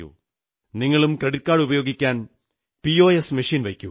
നിങ്ങളും ക്രെഡിറ്റ് കാർഡുപയോഗിക്കാൻ POS machine വയ്ക്കൂ